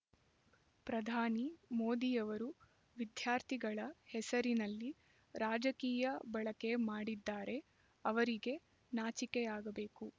ಪ್ರಧಾನಿ ಮೋದಿಯವರು ವಿದ್ಯಾರ್ಥಿಗಳ ಹೆಸರಿನಲ್ಲಿ ರಾಜಕೀಯ ಬಳಕೆ ಮಾಡಿದ್ದಾರೆ ಅವರಿಗೆ ನಾಚಿಕೆಯಾಗಬೇಕು